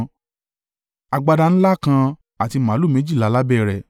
agbada ńlá kan àti màlúù méjìlá lábẹ́ rẹ̀;